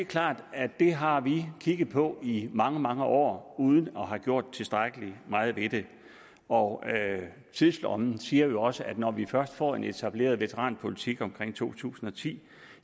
klart at det har vi kigget på i mange mange år uden at have gjort tilstrækkelig meget ved det og tidslommen siger det jo også når vi først får en etableret veteranpolitik omkring to tusind og ti